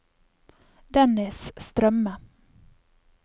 Dennis Strømme